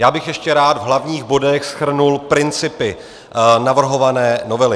Já bych ještě rád v hlavních bodech shrnul principy navrhované novely.